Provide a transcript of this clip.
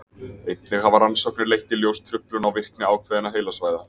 Einnig hafa rannsóknir leitt í ljós truflun á virkni ákveðinna heilasvæða.